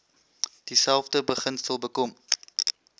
dieselfde beginsel bekom